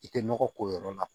I tɛ nɔgɔ ko yɔrɔ la